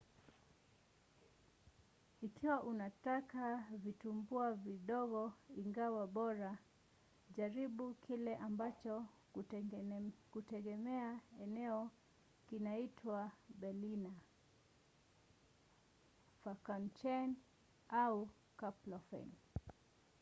ikiwa unataka vitumbua vidogo ingawa bora jaribu kile ambacho kutegemea eneo kinaitwa berliner pfannkuchen au krapfen